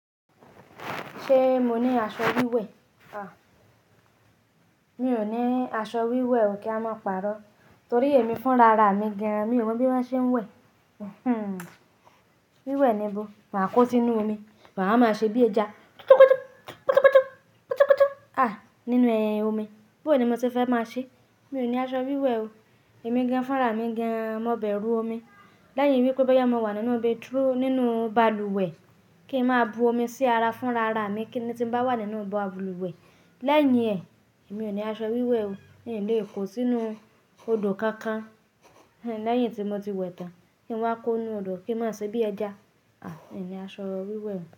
Ṣé mo ní aṣọ wíwẹ̀? À, mi ò ní aṣọ wíwẹ̀ o kí a máa pàrọ́. Torí èmi fún rara mi gan-an, mi ò mọ̀ bí wọ́n ṣe ń wẹ̀. Hmm, wíwẹ̀ ni bó. Máa kó sí inú omi, màá máa ṣe bí ẹja. Ah, nínú ẹhin omi. Bó ni mo ti fẹ́ máa ṣe? Mi ò ní aṣọ wíwẹ̀ o. Èmi gan-an fún rara mi gan-an, má bẹ̀ ru omi. Lẹ́yìn wípé bóyá mo wà nínú omi, túrú nínú balùwẹ̀ kí n máa bu omi sí ara fún rara mi kí ni tí mo bá wà nínú balùwẹ̀. Lẹ́yìn ẹ̀, mi ò ní aṣọ wíwẹ̀ o. Mi ò lè kó sí inú odò kankan. Hmm, lẹ́yìn tí mo ti wẹ̀ tán, kí n wá kó inú odò kí n máa ṣe bí ẹja? À, mi ò ní aṣọ wíwẹ̀.